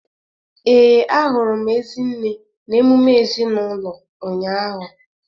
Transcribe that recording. Ee, ahụrụ m Ezinne na emume ezinaụlọ ụnyahụ.